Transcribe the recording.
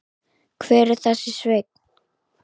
Hver er þessi Sveinn?